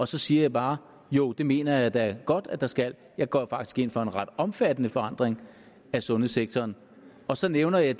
så siger jeg bare jo det mener jeg da godt at der skal jeg går faktisk ind for en ret omfattende forandring af sundhedssektoren og så nævner jeg